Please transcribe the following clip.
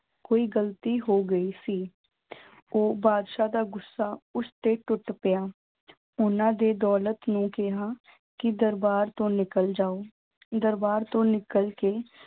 ਕੋਈ ਗ਼ਲਤੀ ਹੋ ਗਈ ਸੀ ਉਹ ਬਾਦਸ਼ਾਹ ਦਾ ਗੁੱਸਾ ਉਸਤੇ ਟੁੱਟ ਪਿਆ ਉਹਨਾਂ ਦੇ ਦੌਲਤ ਨੂੰ ਕਿਹਾ, ਕਿ ਦਰਬਾਰ ਤੋਂ ਨਿਕਲ ਜਾਵਾਂ ਦਰਬਾਰ ਤੋਂ ਨਿਕਲ ਕੇ